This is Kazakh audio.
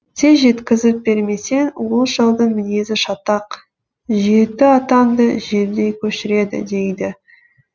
тез жеткізіп бермесең ол шалдың мінезі шатақ жеті атаңды желдей көшіреді дейді